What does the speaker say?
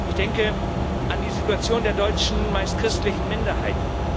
Ich denke an die Situation der deutschen, meist christlichen, Minderheit.